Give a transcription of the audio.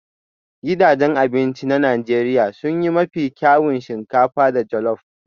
Gidajen abinci na Najeriya sun yi mafi kyawun shinkafa da jollop